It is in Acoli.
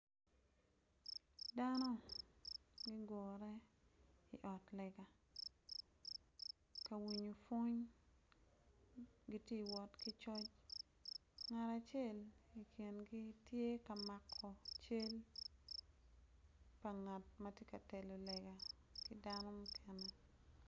Dano ma gugure i otlega ka winyo peony gitye ka wot ki cam ngat acel i kingi tye ka mako cal ngat acel tye ka telo lega.